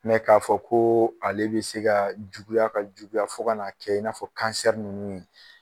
ka fɔ koo ale be se kaa juguya ka juguya fo kan'a kɛ i n'a fɔ nunnu ye